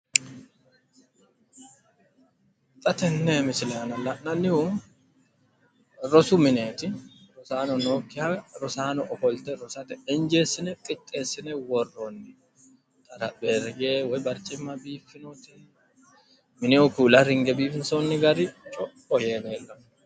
Xa tenne misile aana la'nannihu rosu mineeti rosaano nookkiha rosaano ofolte rosate injeessine qixxeessine worroonni xarapheeyye woy barcimma biiffinote mineho kuula ringoonni gari co'o yee leellanno.